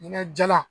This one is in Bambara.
Ɲɛna jalan